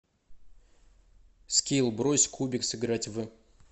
скилл брось кубик сыграть в